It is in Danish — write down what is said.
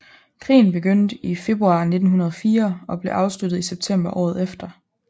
Krigen begyndte i februar 1904 og blev afsluttet i september året efter